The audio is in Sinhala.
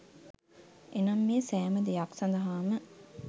එනම් මේ සෑම දෙයක් සඳහාම